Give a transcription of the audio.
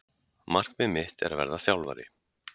Markmið mitt er að verða þjálfari